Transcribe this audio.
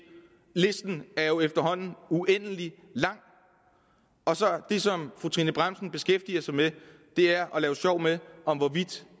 listen er jo efterhånden uendelig lang og det som fru trine bramsen beskæftiger sig med er at lave sjov med hvorvidt